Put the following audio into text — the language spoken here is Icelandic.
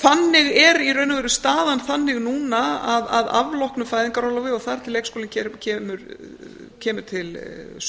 þannig er í raun og veru staðan þannig núna að afloknu fæðingarorlofi og þar til leikskóli kemur til